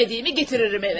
İstədiyimi gətirirəm evə.